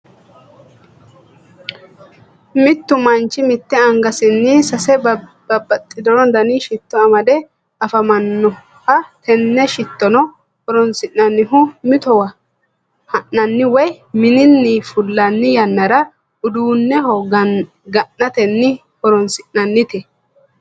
mittu manchi mitte angasinni sase babaxino danni shitto amadde afamanoha tenne shitonno horoonsi'nannihu mittowa ha'nanni woyi mininni fulanni yannara uduunneho ga'nate horonsi'nannite.